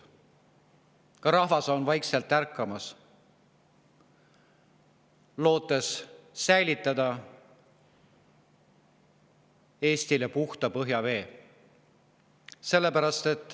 Ka rahvas on jälle vaikselt ärkamas, lootes säilitada Eestile puhta põhjavee.